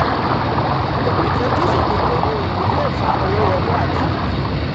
ìfojúsùn ni pé ohun ìní yóò fa owó wọlé àti èrè.